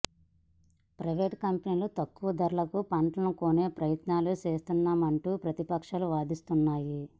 private కంపెనీలు తక్కువ ధరలకు పంటను కొనే ప్రయత్నాలు చేస్తాయంటూ ప్రతిపక్షాలు వాదిస్తున్నాయి